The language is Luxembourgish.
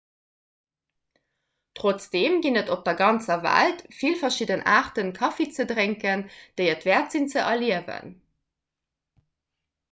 trotzdeem ginn et op der ganzer welt vill verschidden aarte kaffi ze drénken déi et wäert sinn ze erliewen